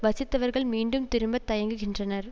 வசித்தவர்கள் மீண்டும் திரும்ப தயங்குகின்றனர்